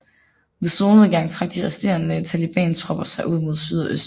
Ved solnedgang trak de resterende talibantropper sig ud mod syd og øst